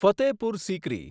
Fatehpur Sikri